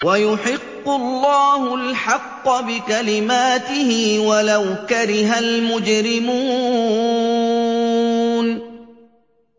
وَيُحِقُّ اللَّهُ الْحَقَّ بِكَلِمَاتِهِ وَلَوْ كَرِهَ الْمُجْرِمُونَ